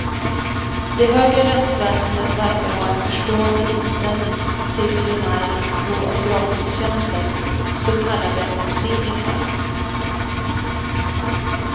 Det högre rättsväsendet verkar ha en förstående inställning till miljonärernas behov av gratistjänster, så kallade fringisar.